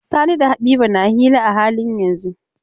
Sani da Habiba na hira a halin yanzun.